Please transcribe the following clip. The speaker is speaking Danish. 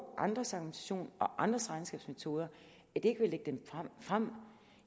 andres argumentation og andre regnskabsmetoder ikke vil lægge dem frem